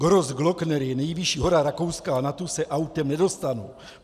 Grossglockner je nejvyšší hora Rakouska a na tu se autem nedostanu.